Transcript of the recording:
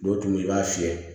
Dɔw tun bɛ i b'a fiyɛ